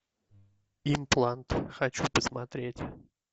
имплант хочу посмотреть